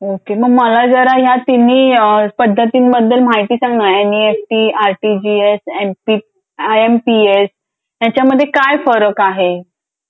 Okay मग मला जरा या तिन्ही पद्धतीने बद्दल माहिती सांग ना NEFT RTGS I M P S याच्यामध्ये काय फरक आहे.